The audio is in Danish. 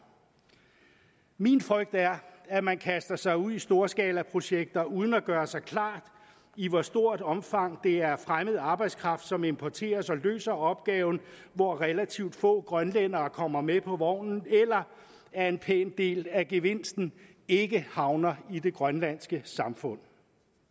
min frygt er at man kaster sig ud i storskalaprojekter uden at gøre sig klart i hvor stort omfang det er fremmed arbejdskraft som importeres og løser opgaven hvor relativt få grønlændere kommer med på vognen eller at en pæn del af gevinsten ikke havner i det grønlandske samfund